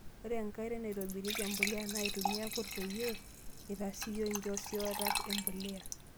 Ore enkae oitoi naitobirieki empulia naa aitumia irkurt pee itasioyo enkiosata empulia.